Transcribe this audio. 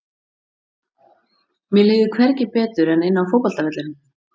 Mér líður hvergi betur en inni á fótboltavellinum.